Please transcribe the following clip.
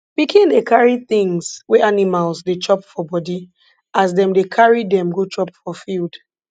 pikin dey carry tins wey animals dey chop for body as dem dey carry dem go chop for field